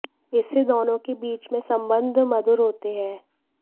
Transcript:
इससे दोनों के बीच में सम्बन्ध मधुर होते हैं